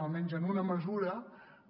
almenys en una mesura